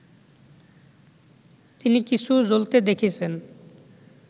তিনি কিছু জ্বলতে দেখেছেন